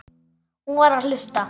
Hún var að hlusta.